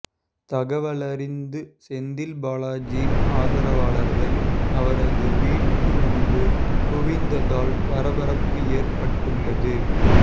தகவலறிந்த செந்தில் பாலாஜியின் ஆதரவாளர்கள் அவரது வீடு முன்பு குவிந்ததால் பரபரப்பு ஏற்பட்டுள்ளது